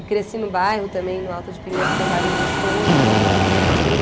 E cresci no bairro também, no Alto de Pinheiros, que é um bairro gostoso, que é aqui pertinho.